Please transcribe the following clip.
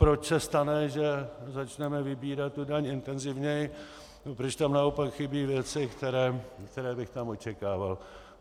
Proč se stane, že začneme vybírat tu daň intenzivněji, proč tam naopak chybí věci, které bych tam očekával.